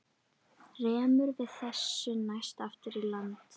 Rerum við þessu næst aftur í land.